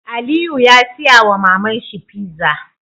Aliyu ya siya wa maman shi pizza